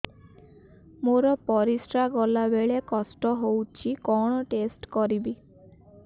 ମୋର ପରିସ୍ରା ଗଲାବେଳେ କଷ୍ଟ ହଉଚି କଣ ଟେଷ୍ଟ କରିବି